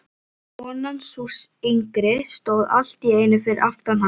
Konan, sú yngri, stóð allt í einu fyrir aftan hann.